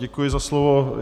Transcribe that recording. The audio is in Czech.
Děkuji za slovo.